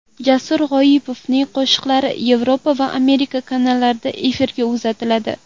Jasur G‘oyipovning qo‘shiqlari Yevropa va Amerika kanallarida efirga uzatiladi.